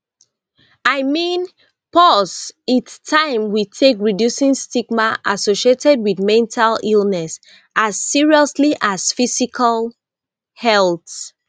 i mean pause its taim we take reducing stigma associated wit mental illness as seriously as physical health